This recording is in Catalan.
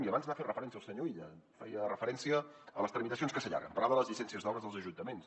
i abans hi ha fet referència el senyor illa feia referència a les tramitacions que s’allarguen parlava de les llicències d’obres dels ajuntaments